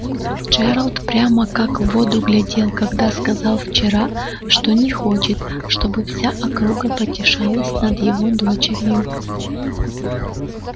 джералд прямо как в воду глядел когда сказал вчера что не хочет чтобы вся округа потешалась над его дочерью